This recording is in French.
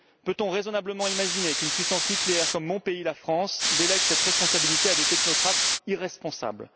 Peut on raisonnablement imaginer qu'une puissance nucléaire comme mon pays, la France, délègue cette responsabilité à des technocrates irresponsables?